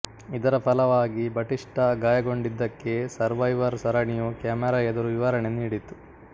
ಇದರ ಫಲವಾಗಿ ಬಟಿಸ್ಟಾ ಗಾಯಗೊಂಡಿದ್ದಕ್ಕೆ ಸರ್ವೈವರ್ ಸರಣಿಯು ಕ್ಯಾಮೆರಾ ಎದುರು ವಿವರಣೆ ನೀಡಿತು